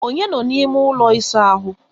Onye nọ n'ime ụlọ ịsa ahụ?